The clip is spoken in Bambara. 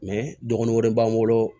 dɔgɔnin wɛrɛ b'an bolo